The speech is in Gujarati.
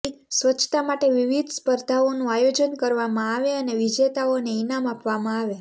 સ્વ્ચછતા માટે વિવિધ સ્પર્ધાઓનું આયોજન કરવામાં આવે અને વિજેતાઓને ઇનામ આપવામાં આવે